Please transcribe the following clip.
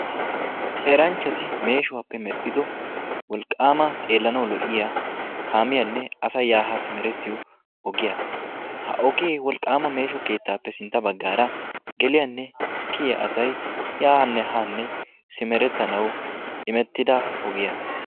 Eranchchati meeshuwappe medhido wolqaama xeellanawu lo"iyaa kaamiyanne asay ya ha simerettiyo ogiya. Ha ogee wolqaama meesho keettaappe sintta baggaara geliyaanne kiyiyaa asay yaanne haanne simerettanawu imettida ogiya.